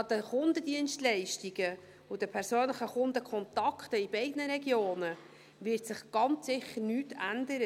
An den Kundendienstleistungen und an den persönlichen Kundenkontakten in beiden Regionen wird sich ganz sicher nichts ändern.